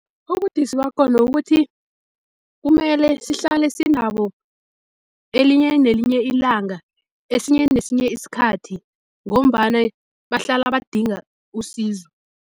Ubudisi bakhona ukuthi kumele sihlale sinabo elinye nelinye ilanga, esinye nesinye isikhathi ngombana bahlala badinga usizo.